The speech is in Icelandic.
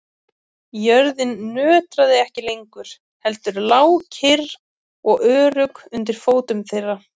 Jörðin nötraði ekki lengur heldur lá kyrr og örugg undir fótum þeirra.